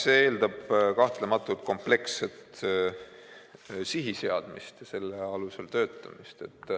See eeldab kahtlemata kompleksset sihiseadmist ja selle alusel töötamist.